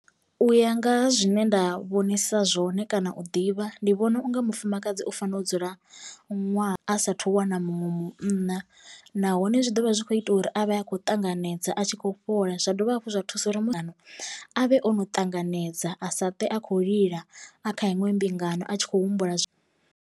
U ya nga ha zwine nda vhonisa zwone kana u ḓivha ndi vhona unga mufumakadzi u fanela u dzula ṅwaha a sathu wana muṅwe munna, nahone zwi ḓovha zwi khou ita uri avhe akho ṱanganedza a tshi kho fhola zwa dovha hafhu zwa thusa uri muthu avhe ono ṱanganedza a sa twe a khou lila a kha iṅwe mbingano a tshi khou humbula.